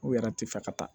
U yɛrɛ ti fɛ ka taa